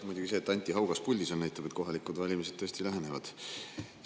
Muidugi see, et Anti Haugas puldis on, näitab, et kohalikud valimised tõesti lähenevad.